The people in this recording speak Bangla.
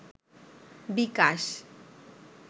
বিকাশ